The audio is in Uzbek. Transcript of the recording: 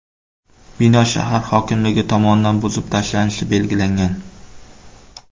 Bino shahar hokimligi tomonidan buzib tashlanishi belgilangan.